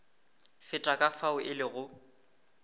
feta ka fao e lego